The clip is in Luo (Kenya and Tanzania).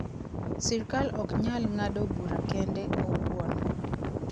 Sirkal ok nyal ng'ado bura kende owuon.